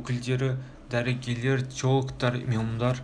өкілдері дәрігерлер теологтар имамдар